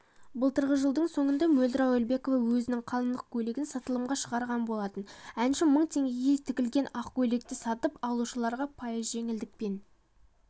былтырғы жылдың соңында мөлдір әуелбекова өзінің қалыңдық көйлегін сатылымға шығарған болатын әнші мың теңгеге тігілген ақ көйлекті сатып алушыларға пайыз жеңілдікпен